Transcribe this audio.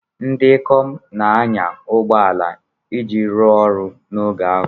Ndị ikom na-anya ụgbọ ala iji rụọ ọrụ n'oge ahụ.